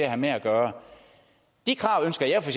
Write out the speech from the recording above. have med at gøre de krav ønsker jeg for